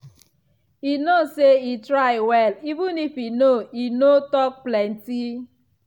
e know say e try well even if e no e no talk plenty.